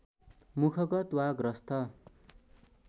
मुखगत वा ग्रस्त